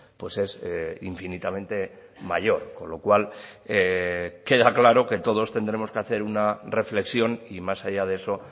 pues es infinitamente mayor con lo cual queda claro que todos tendremos que hacer una reflexión y más allá de eso